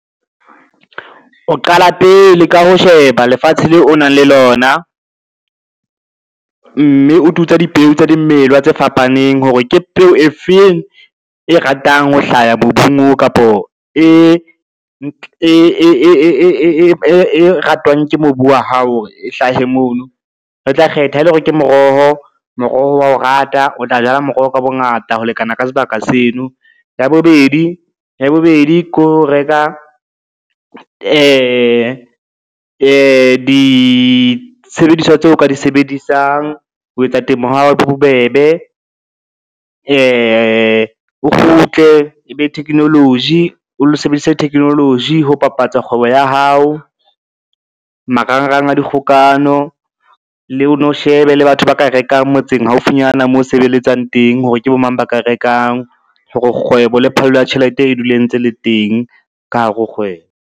O qala pele ka ho sheba lefatshe leo o nang le lona, mme o tutsa dipeo tsa dimela tse fapaneng hore ke peo e feng e ratang ho hlaha mobung kapo e ratwang ke mobu wa hao hore e hlahe mono. Re tla kgetha ha e le hore ke moroho, moroho wa o rata o tla jala moroho ka bongata ho lekana ka sebaka seno. Ya bobedi ke ho reka disebediswa tseo ka di sebedisang ho etsa temo ya hao e be bobebe, o kgutle e be technology, o lo sebedisa technology ho bapatsa kgwebo ya hao marangrang a dikgokano. O no shebe le batho ba ka rekang motseng haufinyana mo sebeletsang teng, hore ke bo mang ba ka rekang, hore kgwebo le phallo ya tjhelete e dule e ntse le teng ka hare ho kgwebo.